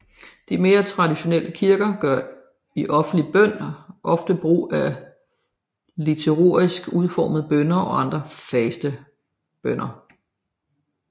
De mere traditionelle kirker gør i offentlig bøn ofte brug af liturgisk udformede bønner og andre faste bønner